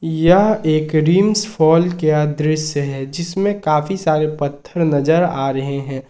यह एक रिम्स फॉल का दृश्य है जिसमें काफी सारे पत्थर नजर आ रहे है।